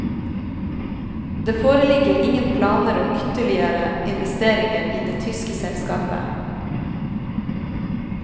Det foreligger ingen planer om ytterligere investeringer i det tyske selskapet.